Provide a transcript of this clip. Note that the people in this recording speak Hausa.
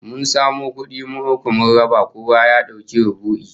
Mun samo kudi mu uku, mun raba kowa ya dauki rubu'i